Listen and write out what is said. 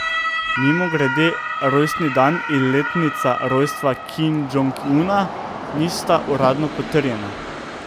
Mimogrede, rojstni dan in letnica rojstva Kim Džong Una nista uradno potrjena.